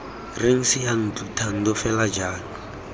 reng seyantlo thando fela jalo